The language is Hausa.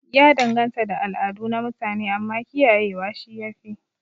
Ya danganta da al'adu na mutune, amma kiyaye wa shi yafi